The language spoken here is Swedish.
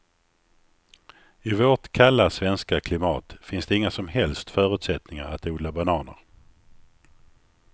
I vårt kalla svenska klimat finns det inga som helst förutsättningar att odla bananer.